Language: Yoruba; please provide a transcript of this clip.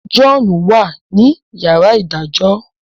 John wá ní yàrá idajọ.